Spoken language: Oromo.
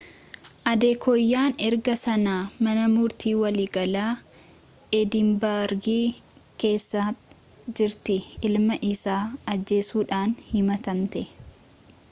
adekooyaan erga sanaa mana murtii waliigalaa eedinbargi keessa jirti ilma isii ajjeesuudhaan himatamtee